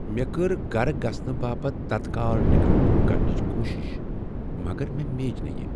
مےٚ کٔر گھر گژھنہٕ باپتھ تتكال ٹکٹ بُک کرنٕچ کوٗشش مگر مےٚ میج نہٕ یہ۔